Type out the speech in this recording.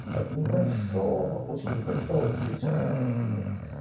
от небольшого очень небольшого количества партнерок